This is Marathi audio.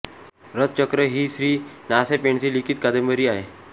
रथचक्र ही श्री ना पेंडसे लिखित कादंबरी आहे